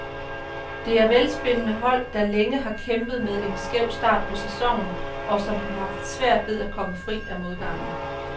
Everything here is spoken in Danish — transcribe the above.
Det er velspillende hold, der længe har kæmpet med en skæv start på sæsonen, og som har haft svært ved at komme fri af modgangen.